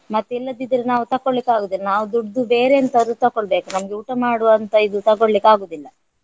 ಮತ್ತಿಲ್ಲದಿದ್ದರೆ ನಾವು ತೊಕೊಳ್ಳಿಕ್ಕಾಗುದಿಲ್ಲ ನಾವು ದುಡ್ದು ಬೇರೆ ಎಂತಾದರು ತೊಕೊಳ್ಬೇಕು ನಮ್ಗೆ ಊಟ ಮಾಡುವಂತ ಇದು ತೊಕೊಳ್ಳಿಕ್ಕಾಗುದಿಲ್ಲ.